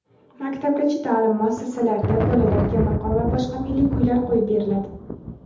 maktabgacha ta’lim muassasalarida bolalarga maqom va boshqa milliy kuylar qo‘yib beriladi.